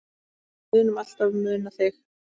Við munum alltaf muna þig.